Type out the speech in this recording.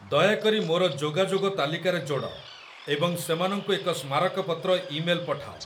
ଦୟାକରି ମୋର ଯୋଗାଯୋଗ ତାଲିକାରେ ଯୋଡ଼ ଏବଂ ସେମାନଙ୍କୁ ଏକ ସ୍ମାରକପତ୍ର ଇମେଲ ପଠାଅ